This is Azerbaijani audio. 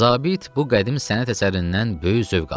Zabit bu qədim sənət əsərindən böyük zövq alırdı.